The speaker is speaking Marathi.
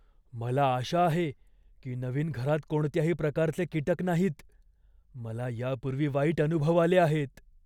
"मला आशा आहे की नवीन घरात कोणत्याही प्रकारचे कीटक नाहीत, मला यापूर्वी वाईट अनुभव आले आहेत."